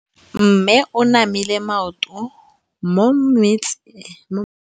Mme o namile maoto mo mmetseng ka fa gare ga lelapa le ditsala tsa gagwe.